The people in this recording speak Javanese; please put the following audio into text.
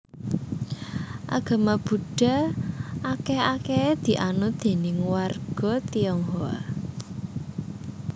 Agama Buddha akèh akèhé dianut déning warga Tionghoa